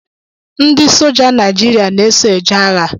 Ndị soja Naijiria na-eso eje agha